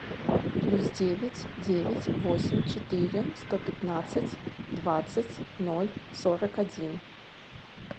плюс девять девять восемь четыре сто пятнадцать двадцать ноль сорок один